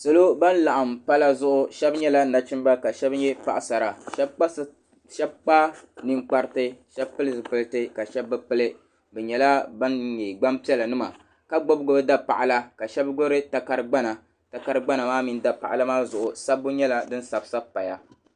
Salo ban laɣim pala zuɣu Sheba nyɛla Nachimbila ka Sheba nyɛ Paɣasara Sheba kpa ninkpariti Sheba pili zipilti ka Sheba bi pili bi nyɛla ban nyɛ gbampiɛla nima ka gbibi gbibi dapaɣala ka Sheba gbibi takari'gbana takari'gbana maa mini dapaɣala maa zuɣu sabbu nyɛla din sabi sabi m paya.